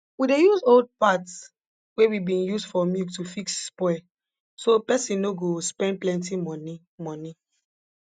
we dey use old parts wey we bin use for milk to fix spoil so person no go spend plenti money money